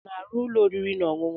Ọ na-arụ ụlọ oriri na ọṅụṅụ?